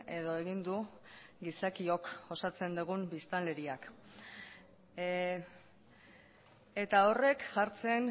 edo egin du gizakiok osatzen dugun biztanleriak eta horrek jartzen